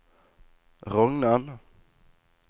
Rognan